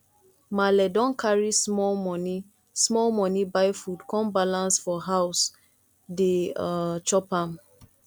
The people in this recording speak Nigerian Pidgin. maale don carry small moni small moni buy food come balance for house dey um chop am